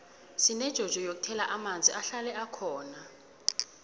sinejojo yokuthela amanzi ahlale bkhona